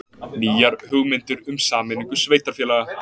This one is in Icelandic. Nýjar hugmyndir um sameiningu sveitarfélaga